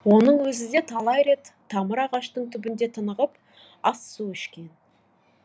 оның өзі де талайрет тамыр ағаштың түбінде тынығып ас су ішкен